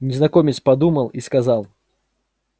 незнакомец подумал и сказал